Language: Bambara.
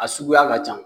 A suguya ka ca